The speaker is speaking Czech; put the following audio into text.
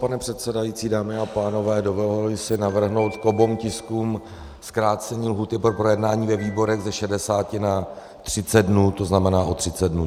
Pane předsedající, dámy a pánové, dovoluji si navrhnout k oběma tiskům zkrácení lhůty pro projednání ve výborech ze 60 na 30 dnů, to znamená o 30 dnů.